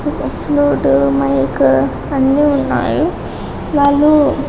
flute mic అన్నీ ఉన్నాయి వాళ్లు